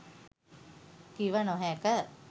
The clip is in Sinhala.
කිව නොහැක.